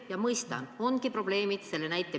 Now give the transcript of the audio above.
Ja ma mõistan, et ongi probleemid – sa tõid ka ühe näite.